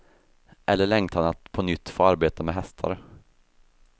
Eller längtan att på nytt få arbeta med hästar.